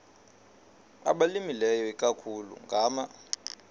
abalimileyo ikakhulu ngama